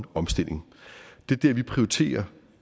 omstilling det er dér vi prioriterer